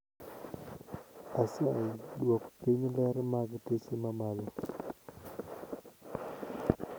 Asayi Dwok piny ler mag teche mamalo